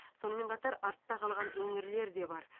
сонымен қатар артта қалған өңірлер де бар